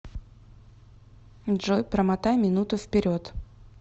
джой промотай минуту вперед